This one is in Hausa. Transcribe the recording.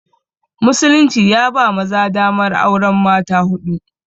Musulunci ya ba maza damar auren mata huɗu